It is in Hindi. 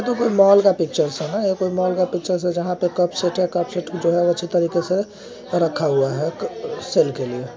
यह कोई मॉल का पिक्चर है ना मॉल का पिक्चर जहां पर कप सेट है कप सेट है अच्छी तरह से रखा हुआ है सेल के लिए।